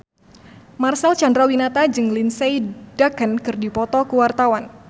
Marcel Chandrawinata jeung Lindsay Ducan keur dipoto ku wartawan